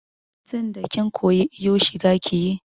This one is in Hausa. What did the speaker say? Tinda kin koyi iyo shiga kiyi!